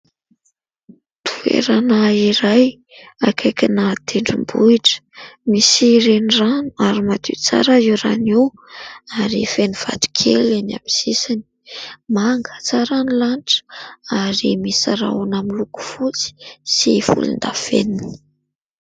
Toerana iray akaikina tendrombohitra. Misy renirano ary madio tsara io rano io ary feno vato kely eny amin'ny sisiny. Manga tsara ny lanitra ary misy rahona miloko fotsy sy volondavenona.